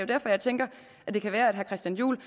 derfor jeg tænker at det kan være at herre christian juhl